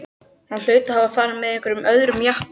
Hann hlaut að hafa farið með einhverjum öðrum jeppa.